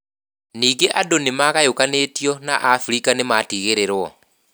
Nĩngĩ andũ nĩ maagayũkanĩtio na abirika nĩ matigĩrĩrwo.